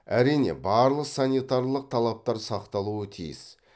әрине барлық санитарлық талаптар сақталуы тиіс